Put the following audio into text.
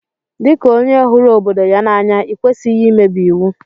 Di ka onye huru obodo ya n'anya ikwesighi imebi iwu.